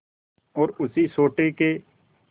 और उसी सोटे के